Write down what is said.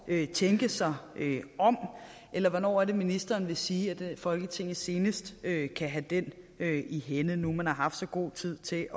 at tænke sig om eller hvornår er det ministeren vil sige at folketinget senest kan kan have den i hænde nu man har haft så god tid til